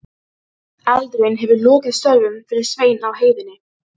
Eldurinn hefur lokið störfum fyrir Svein á heiðinni.